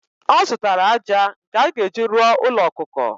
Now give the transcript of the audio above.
Ọ zụtara ájá nke a ga-eji rụọ ųlo ọkụkọ.